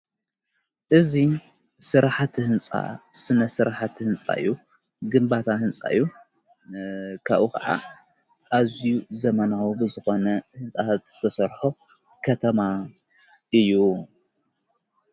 እዙይ ሥራኃቲ ሕንፃ ስነ ሥራኃቲ ሕንጻዩ ግምባታ ሕንጻዩ ካኡ ኸዓ ኣዙይ ዘመናዊ ብዘኾነ ሕንፃት ዝዝተሠርሖ ከተማ እዩ።